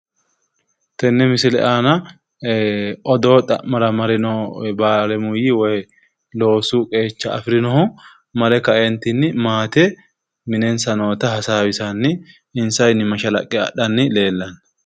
Tenne misile aana odoo xa'mara mare noo baalemuyyi woyi loosu qeecha afirinohu mare kaeentinni maate minensa noota hasaawisanni insawinni mashalaqqe adhanni leellanno.